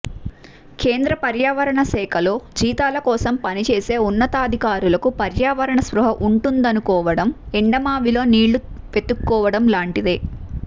కేంద్రపర్యావరణ శాఖలో జీతాల కోసం పనిచేసే ఉన్నతాధికారులకు పర్యావరణ స్పృహ ఉం టుందనుకోవడం ఎండమావిలో నీళ్ళు వెతుక్కోవడం లాంటిదే